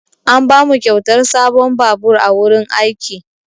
An bamu kyautar sabon babur a wurin aiki.